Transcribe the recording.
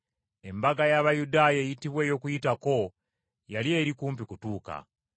Embaga y’Abayudaaya eyitibwa Okuyitako yali eri kumpi okutuuka.